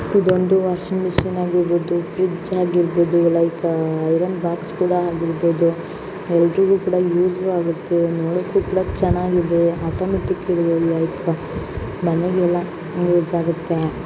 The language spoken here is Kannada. ಇದೊಂದು ವಾಷಿಂಗ್ ಮಿಷನ್ ಆಗಿರಬಹುದು ಫ್ರಿಡ್ಜ್ ಆಗಿರಬಹುದು ಲೈಕ್ ಐರನ್ ಬಾಕ್ಸ್ ಕೂಡ ಆಗಿರಬಹುದು ಎಲ್ಲರಿಗೂ ಕೂಡ ಯೂಸ್ ಆಗುತ್ತೆ ನೋಡಕ್ಕು ಕೂಡ ಚೆನ್ನಾಗಿದೆ ಆಟೋಮೆಟಿಕ್ ಇದೆ ಲೈಕ್ ಮನೇಲೆಲ್ಲ ಯೂಸ್ ಆಗುತ್ತೆ .